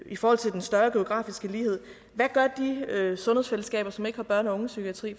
i forhold til den større geografiske lighed hvad gør de sundhedsfællesskaber som ikke har børn og unge psykiatri